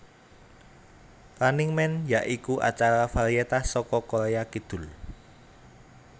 Running Man ya iku acara varietas saka Korea Kidul